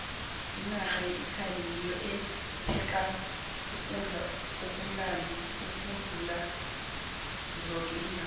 inarha yeitaly ngiyo epheka ukudla okumnandi ukudlula zoke iinarha